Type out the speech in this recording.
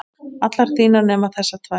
allar þínar nema þessar tvær.